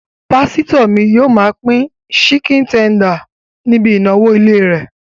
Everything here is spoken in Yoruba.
Pásítọ̀ mi yóò máa pín síkìn tender níbi ìnáwó ilé rẹ̀